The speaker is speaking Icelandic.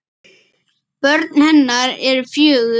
Börn hennar eru fjögur.